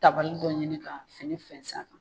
Tabali dɔ ɲini ka fini fɛnsɛ a kan.